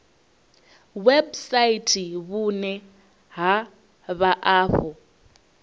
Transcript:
website vhune ha vha afho